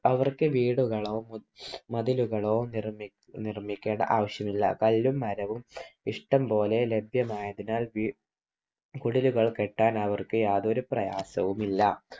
അവർക്ക് വീടുകളോ മതിലുകളോ നിർമിക്കേണ്ട ആവശ്യം ഇല്ല. കല്ലും മരവും ഇഷ്ടം പോലെ ലഭ്യമായതിനാൽ കുടിലുകൾ കെട്ടാൻ അവർക്ക് യാതൊരു പ്രയാസവും ഇല്ല.